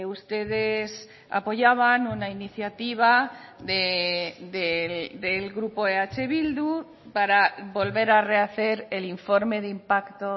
ustedes apoyaban una iniciativa del grupo eh bildu para volver a rehacer el informe de impacto